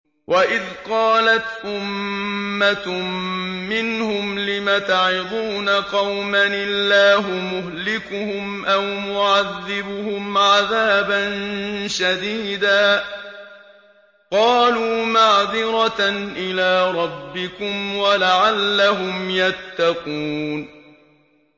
وَإِذْ قَالَتْ أُمَّةٌ مِّنْهُمْ لِمَ تَعِظُونَ قَوْمًا ۙ اللَّهُ مُهْلِكُهُمْ أَوْ مُعَذِّبُهُمْ عَذَابًا شَدِيدًا ۖ قَالُوا مَعْذِرَةً إِلَىٰ رَبِّكُمْ وَلَعَلَّهُمْ يَتَّقُونَ